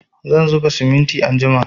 Zan zuba simintin anjima